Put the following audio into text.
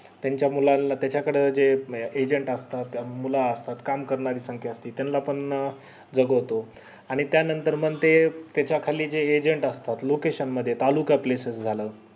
त्याच्या मुलांना त्याच्या कडे ते agent असतात मुलं असतात काम संख्या करणारी असती त्याना पण जागवतो आणि त्या नंतर मंग ते त्याच्या खाली जे agent असतात location मध्ये तालुका सगळे सर्व झालं